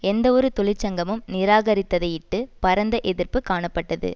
எந்தவொரு தொழிற்சங்கமும் நிராகரித்ததையிட்டு பரந்த எதிர்ப்பு காணப்பட்டது